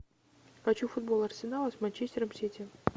хочу футбол арсенала с манчестером сити